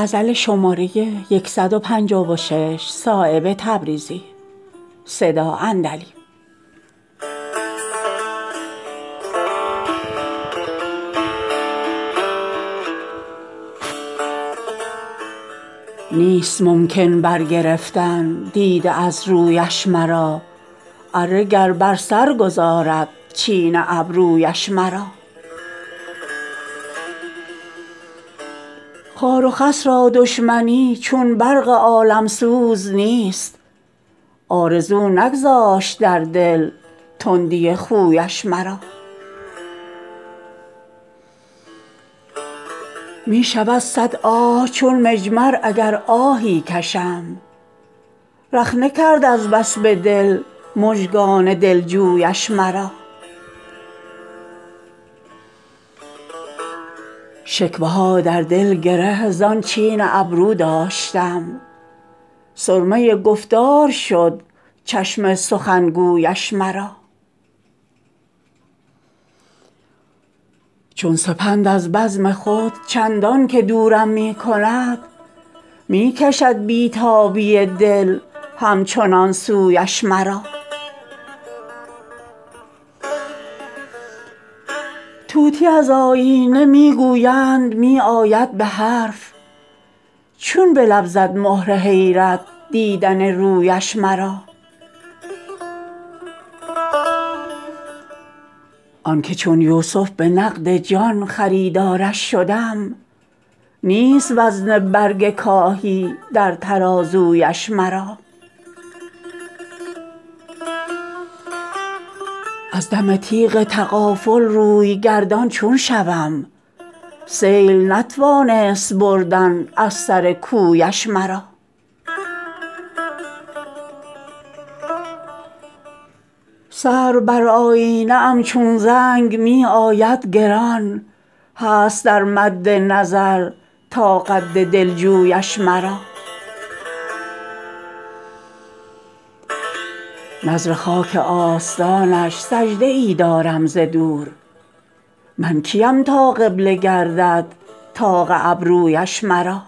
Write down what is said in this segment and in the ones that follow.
نیست ممکن بر گرفتن دیده از رویش مرا اره گر بر سر گذارد چین ابرویش مرا خار و خس را دشمنی چون برق عالمسوز نیست آرزو نگذاشت در دل تندی خویش مرا می شود صد آه چون مجمر اگر آهی کشم رخنه کرد از بس به دل مژگان دلجویش مرا شکوه ها در دل گره زان چین ابرو داشتم سرمه گفتار شد چشم سخنگویش مرا چون سپند از بزم خود چندان که دورم می کند می کشد بی تابی دل همچنان سویش مرا طوطی از آیینه می گویند می آید به حرف چون به لب زد مهر حیرت دیدن رویش مرا آن که چون یوسف به نقد جان خریدارش شدم نیست وزن برگ کاهی در ترازویش مرا از دم تیغ تغافل روی گردان چون شوم سیل نتوانست بردن از سر کویش مرا سرو بر آیینه ام چون زنگ می آید گران هست در مد نظر تا قد دلجویش مرا نذر خاک آستانش سجده ای دارم ز دور من کیم تا قبله گردد طاق ابرویش مرا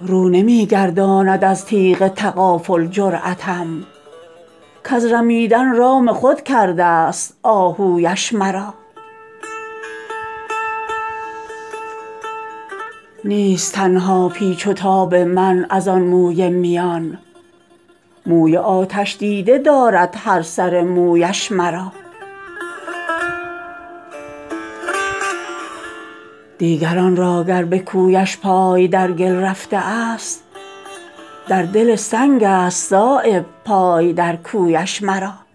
رو نمی گرداند از تیغ تغافل جرأتم کز رمیدن رام خود کرده است آهویش مرا نیست تنها پیچ و تاب من ازان موی میان موی آتش دیده دارد هر سر مویش مرا دیگران را گر به کویش پای در گل رفته است در دل سنگ است صایب پای در کویش مرا